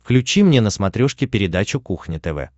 включи мне на смотрешке передачу кухня тв